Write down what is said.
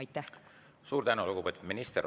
Suur tänu, lugupeetud minister!